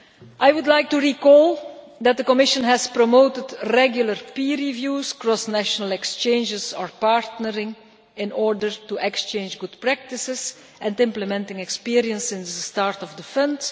I would like to recall that the Commission has promoted regular peer reviews across national exchanges or partnering in order to exchange good practices and implementing experience since the start of the Fund.